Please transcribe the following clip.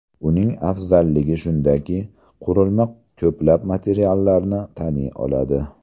Uning afzalligi shundaki, qurilma ko‘plab materiallarni taniy oladi.